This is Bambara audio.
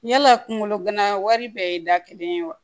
Yala kungolo gana wari bɛɛ ye da kelen ye wa